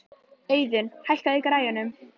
Auðun, hækkaðu í græjunum.